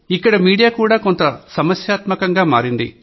ఇక్కడ మీడియా కూడా కొంత సమస్యాత్మకంగా మారింది